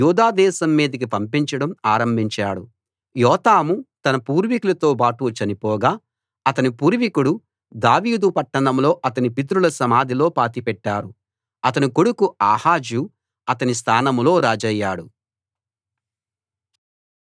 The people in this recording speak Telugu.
యోతాము తన పూర్వీకులతోబాటు చనిపోగా అతని పూర్వీకుడు దావీదు పట్టణంలో అతని పితరుల సమాధిలో పాతిపెట్టారు అతని కొడుకు ఆహాజు అతని స్థానంలో రాజయ్యాడు